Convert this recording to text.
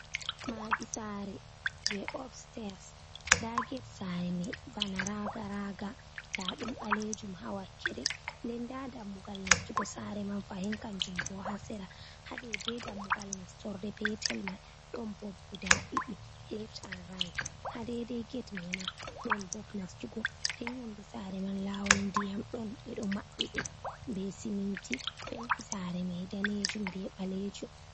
Madi sare je obsters nda get sare mai bana raga raga nda ɗum ɓalejum ha wakkere, nden nda dammugal nastugo sare man fahin kanjum bo ha sera ha dedei dammugal nastorde petel mal ɗon bob guda ɗiɗi left and riht ha dedei ged mai ma don bob nastugo den yonde sare man lawol ndiyam ɗon ɓeɗo maɓɓi ɗum be siminti penti sare mai danejum be ɓalejum.